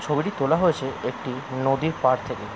ছবিটি তোলা হয়েছে একটি নদীর পার থেকে।